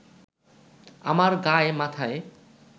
আমার গায় মাথায়